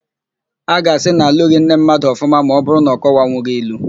A ga-asị na alụghị nne mmadụ ọfụma ma ọbụrụ na ọ kọwanwughi ilu.